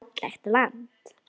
Fallegt land.